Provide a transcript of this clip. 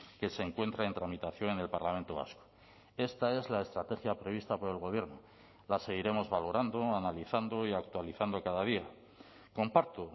que se encuentra en tramitación en el parlamento vasco esta es la estrategia prevista por el gobierno la seguiremos valorando analizando y actualizando cada día comparto